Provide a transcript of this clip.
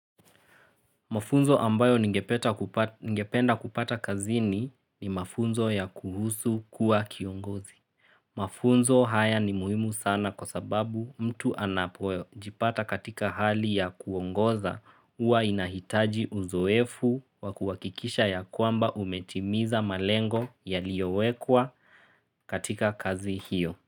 Mafunzo ambayo ningependa kupata kazini ni mafunzo ya kuhusu kuwa kiongozi. Mafunzo haya ni muhimu sana kwa sababu mtu anapojipata katika hali ya kuongoza uwa inahitaji uzoefu wa kuhakikisha ya kwamba umetimiza malengo yaliyowekwa katika kazi hiyo.